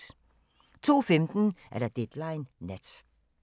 02:15: Deadline Nat